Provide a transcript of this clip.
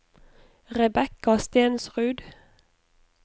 Rebecca Stensrud